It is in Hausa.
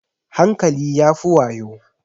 Hankali ya fi yawo.